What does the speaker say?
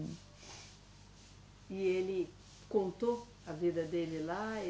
E ele contou a vida dele lá?